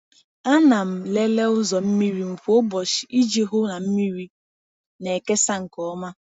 A na m lelee ụzọ mmiri m kwa ụbọchị iji hụ na mmiri na-ekesa nke ọma.